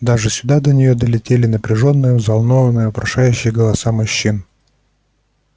даже сюда до нее долетали напряжённые взволнованные вопрошающие голоса мужчин